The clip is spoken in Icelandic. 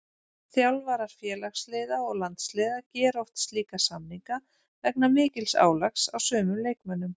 Þjálfarar félagsliða og landsliða gera oft slíka samninga vegna mikils álags á sumum leikmönnum.